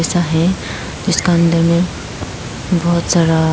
जैसा है उसका अंदर में बहोत सारा--